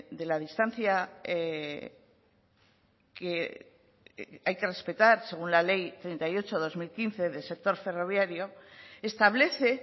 de la distancia que hay que respetar según la ley treinta y ocho barra dos mil quince del sector ferroviario establece